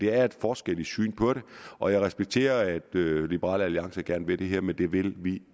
er en forskel i synet på det og jeg respekterer at liberal alliance gerne vil det her men det vil vi